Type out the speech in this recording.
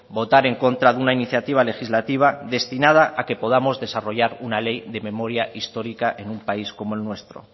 votar en contra de una iniciativa legislativa destinada a que podamos desarrollar una ley de memoria histórica en un país como el nuestro